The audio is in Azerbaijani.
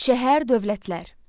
Şəhər dövlətlər.